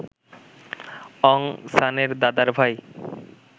অং সানের দাদার ভাই